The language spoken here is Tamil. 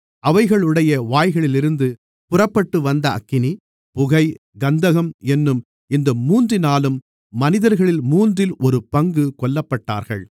அவைகளுடைய வாய்களிலிருந்து புறப்பட்டுவந்த அக்கினி புகை கந்தகம் என்னும் இந்த மூன்றினாலும் மனிதர்களில் மூன்றில் ஒரு பங்கு கொல்லப்பட்டார்கள்